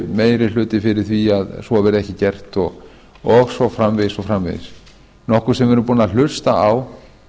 meiri hluti fyrir því að svo verði ekki gert og svo framvegis og svo framvegis nokkuð sem við erum búin að hlusta á